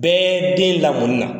Bɛɛ den lamɔni na .